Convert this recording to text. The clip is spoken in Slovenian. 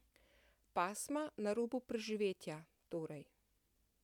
Pasma na robu preživetja, torej.